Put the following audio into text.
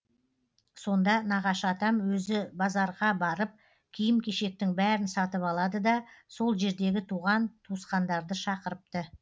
сонда нағашы атам өзі базарға барып киім кешектің бәрін сатып алады да сол жердегі туған туысқандарды шақырыпты